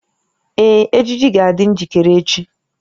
Ee, ejiji ga-adị njikere echi